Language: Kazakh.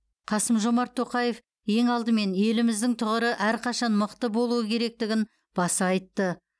қасым жомарт тоқаев ең алдымен еліміздің тұғыры әрқашан мықты болуы керектігін баса айтты